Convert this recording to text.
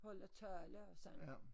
Holder tale og sådan